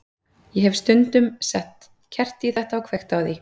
Ég hef síðan stundum sett kerti í þetta og kveikt á því.